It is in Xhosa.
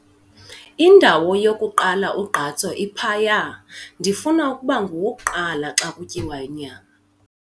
Indawo yokuqala ugqatso iphaya. ndifuna ukuba ngowokuqala xa kutyiwa inyama